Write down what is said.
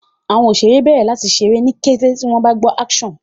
àwọn òṣeré bèrè láti ṣe ní kété tí wón gbó "action"